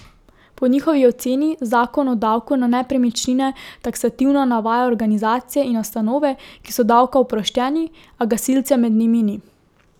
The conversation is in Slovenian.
Po njihovi oceni zakon o davku na nepremičnine taksativno navaja organizacije in ustanove, ki so davka oproščeni, a gasilcev med njimi ni.